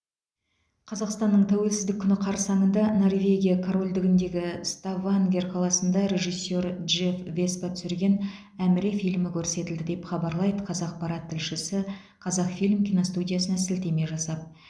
қазақстанның тәуелсіздік күні қарсаңында норвегия корольдігіндегі ставангер қаласында режиссер джефф веспа түсірген әміре фильмі көрсетілді деп хабарлайды қазақпарат тілшісі қазақфильм киностудиясына сілтеме жасап